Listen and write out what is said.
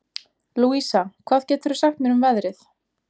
Louisa, hvað geturðu sagt mér um veðrið?